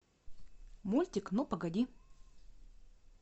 мультик ну погоди